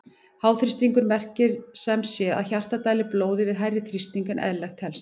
Háþrýstingur merkir sem sé að hjartað dælir blóðinu við hærri þrýsting en eðlilegt telst.